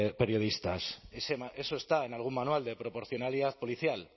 periodistas eso está en algún manual de proporcionalidad policial